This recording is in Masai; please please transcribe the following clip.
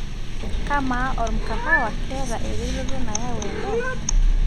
kamaa ormkahawa keeta ereteto nayau edaa